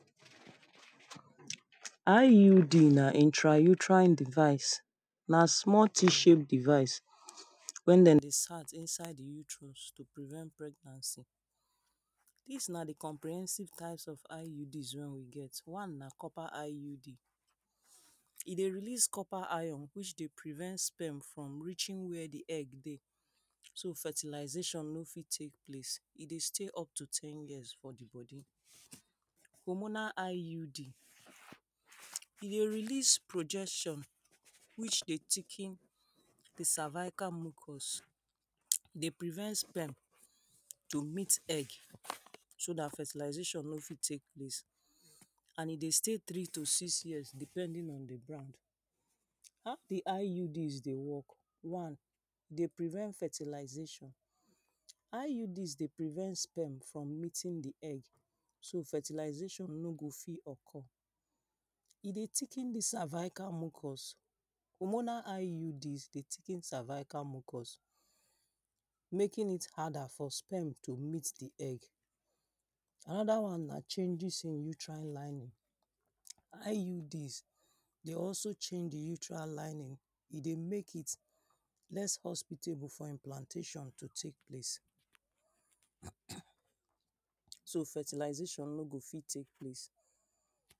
IUD na intrauterine device. Na small t-shape device wey dem insert insert utrus to prevent pregnancy. Dis na the comprehensive types of IUD when we get. One na copper IUD. E dey release copper iron which dey prevent sperm from reaching where the egg dey. So fertilization no fit take place. E dey stay up to ten years for the body. Hormonal IUD, e dey release projection whcih dey thicken the cervical mucus. Dey prevent sperm to meet egg so dat fertilization no fit take place. And e dey stay three to six years depending on the bond. How the IUD dey work? One, e dey prevent fertilization. IUD dey prevent sperm from meeting the egg so fertilization no go fit occur. E dey thicken dis cervacal mucus. Hormonal IUD dey thicken cervacal mucus making it harder for sperm to meet the egg. Another one na changes uterine lining. IUD dey also change the uterine lining. E dey make it less hospital before implantation to take place. erm erm So fertilization no go fit take place.